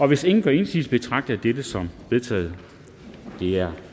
hvis ingen gør indsigelse betragter jeg dette som vedtaget det er